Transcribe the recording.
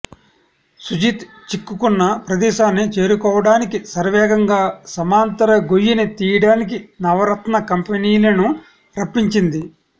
సుజిత్ చిక్కుకున్న ప్రదేశాన్ని చేరుకోవడానికి శరవేగంగా సమాంతర గొయ్యిని తీయడానికి నవరత్న కంపెనీలను రప్పించింది